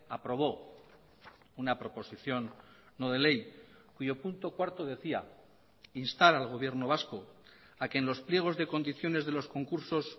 aprobó una proposición no de ley cuyo punto cuarto decía instar al gobierno vasco a que en los pliegos de condiciones de los concursos